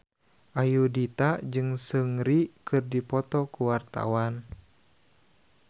Ayudhita jeung Seungri keur dipoto ku wartawan